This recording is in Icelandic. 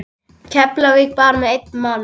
Keflavík bara með einn mann?